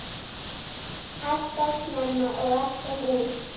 Alltof snemma og alltof ung.